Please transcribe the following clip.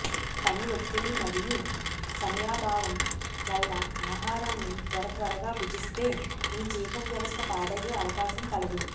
పని ఒత్తిడి మరియు సమయాభావం వల్ల ఆహారాన్ని త్వర త్వరగా భుజిస్తే మీ జీర్ణ వ్యవస్థ పాడయ్యే అవకాశం కలదు